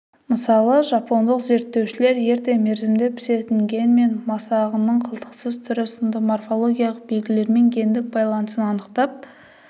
мысалы жапондық зерттеушілер ерте мерзімде пісетін генмен масағының қылтықсыз түрі сынды морфологиялық белгілерімен гендік байланысын анықтап